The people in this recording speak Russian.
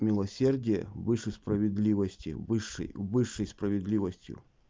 милосердие выше справедливости высшей высшей справедливостью